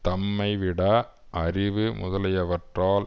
தம்மைவிட அறிவு முதலியவற்றால்